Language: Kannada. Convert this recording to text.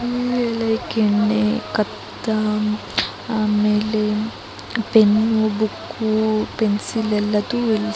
ಪೆನ್ನು ಬುಕ್ಕು ಪೆನ್ಸಿಲ್ ಎಲ್ಲದು ಇಲ್ ಸಿಗುತ್ತೆ.